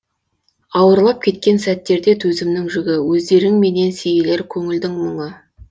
ауырлап кеткен сәттерде төзімнің жүгі өздеріңменен сейілер көңілдің мұңы